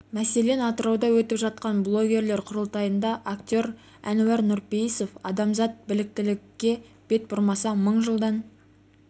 мәселен атырауда өтіп жатқан блогерлер құрылтайында актер әнуар нұрпейісов адамзат біліктілікке бет бұрмаса мың жылдан